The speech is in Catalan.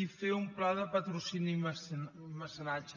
i fer un pla de patrocini i mecenatge